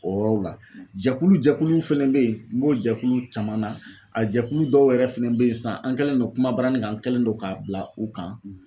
O yɔrɔw la jɛkulu jɛkuluw fɛnɛ be yen n b'o jɛkulu caman na a jɛkulu dɔw yɛrɛ fɛnɛ bɛ yen sisan an kɛlen don kuma baranin kan an kɛlen don k'a bila u kan.